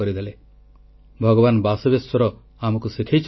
• ସ୍ୱଚ୍ଛ ସୁନ୍ଦର ଶୌଚାଳୟ ଅଭିଯାନର ନେତୃତ୍ୱ ନେବାକୁ ସରପଞ୍ଚମାନଙ୍କୁ ଆହ୍ୱାନ